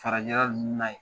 Farajɛla ninnu na yen